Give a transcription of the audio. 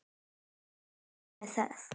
Ekki nóg með það.